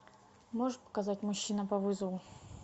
можешь показать мужчина по вызову